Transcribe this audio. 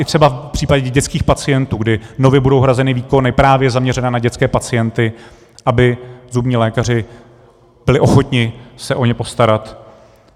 I třeba v případě dětských pacientů, kdy nově budou hrazeny výkony právě zaměřené na dětské pacienty, aby zubní lékaři byli ochotni se o ně postarat.